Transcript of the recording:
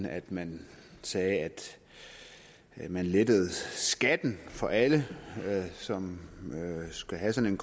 at man sagde at man lettede skatten for alle som skal have sådan